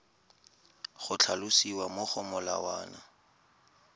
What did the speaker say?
go tlhalosiwa mo go molawana